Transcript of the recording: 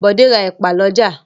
Bọ̀dé ra ẹ̀pà lọ́jà.